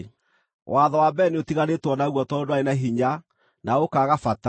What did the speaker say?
Watho wa mbere nĩũtiganĩtwo naguo tondũ ndwarĩ na hinya na ũkaaga bata